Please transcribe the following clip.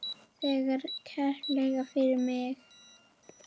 Þakka kærlega fyrir mig.